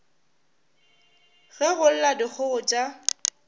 ge go lla dikgogo tša